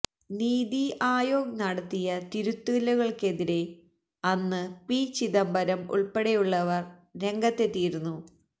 നീതി ആയോഗ് നടത്തിയ തിരുത്തലുകള്ക്കെതിരെ അന്ന് പി ചിദംബരം ഉള്പ്പെടെയുള്ളവര് രംഗത്തെത്തിയിരുന്നു